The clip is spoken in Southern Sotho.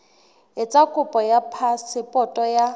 etsa kopo ya phasepoto ya